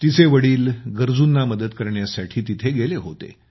तिचे वडील गरजूंना मदत करण्यासाठी तिथे गेले होते